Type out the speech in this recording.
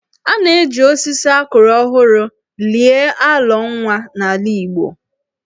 A na-eji osisi a kụrụ ọhụrụ lie alọ nwa n'ala Igbo (ili alọ).